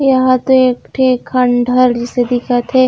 यहाँ तो एक ठी खंडहर जैसे दिखत हे।